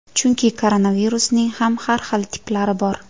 Chunki koronavirusning ham har xil tiplari bor.